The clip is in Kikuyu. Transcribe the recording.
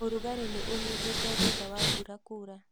Ũrugarĩ nĩ ũnyihĩte thutha wa mbura kura